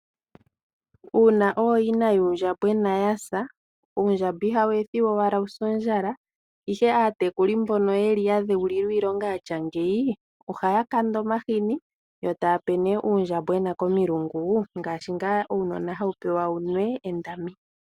Uuna ooyina yuundjambwena yasa, uundjamba ihawu ethiwa owala wuse ondjala, ihe aatekuli mbono yeli ya dheulilwa iilonga yatya ngeyi ohaya kanda omahini yo taya pe nee uundjambwena komilungu, ngaashi ngaa uunona hawu pewa wunwe endami.